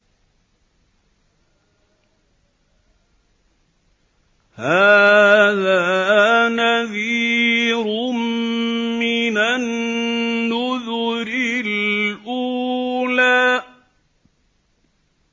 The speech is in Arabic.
هَٰذَا نَذِيرٌ مِّنَ النُّذُرِ الْأُولَىٰ